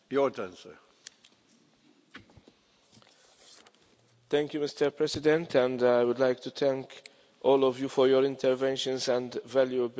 Mr President, I would like to thank all of you for your interventions and valuable views, and also for the broad support for this multiannual plan.